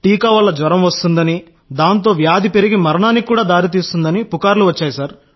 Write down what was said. టీకా వల్ల జ్వరం వస్తుందని దాంతో వ్యాధి పెరిగి మరణానికి కూడా దారి తీస్తుందని పుకార్లు వచ్చాయి సార్